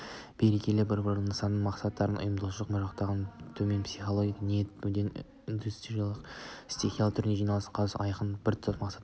береке-бірліктің нысаналы мақсаттың ұйымшылдықтың жоқтығы төменгі психологиялық ниет-мүдденің итермелеуімен стихиялы түрде жиналу қатысушылардың айқын біртұтас мақсаттарының